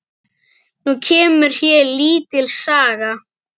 Nú kemur hér lítil saga.